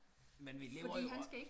Men vi lever jo og